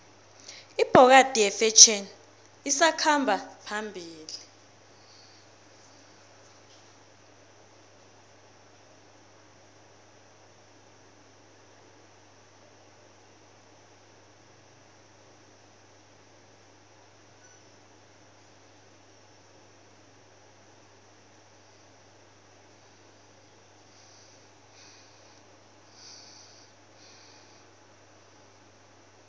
ibhokadi yifetjheni esakhamba phambili